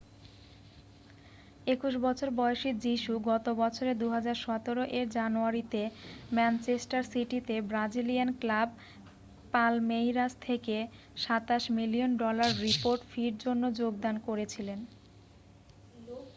21 বছর বয়সী যীশু গত বছরে 2017 এর জানুয়ারিতে ম্যানচেস্টার সিটিতে ব্রাজিলিয়ান ক্লাব পালমেইরাস থেকে £ 27 মিলিয়ন ডলার রিপোর্ট ফির জন্য যোগদান করেছিলেন।